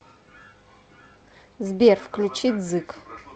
сбер включи дзык